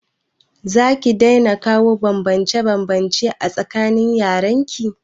Zaki daina kawo banbance banbance a tsakanin yaran ki?